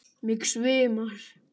Mig svimar.